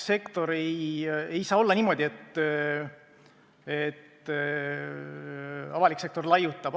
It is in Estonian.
Ei saa olla niimoodi, et avalik sektor laiutab!